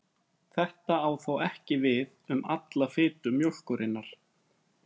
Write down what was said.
Þetta á þó ekki við um alla fitu mjólkurinnar.